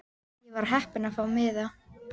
Ég var heppin að fá miða.